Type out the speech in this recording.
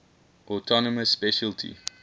autonomous specialty